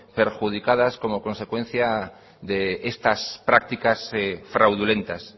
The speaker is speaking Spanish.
perjudicadas como consecuencia de estas prácticas fraudulentas